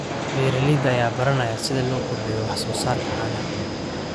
Beeralayda ayaa baranaya sida loo kordhiyo wax soo saarka caanaha.